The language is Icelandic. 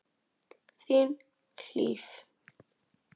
Þín, Hlíf.